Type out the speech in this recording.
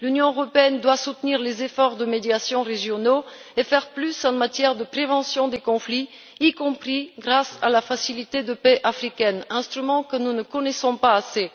L'Union européenne doit soutenir les efforts de médiation régionaux et faire plus en matière de prévention des conflits, y compris grâce à la facilité de paix africaine, instrument que nous ne connaissons pas assez.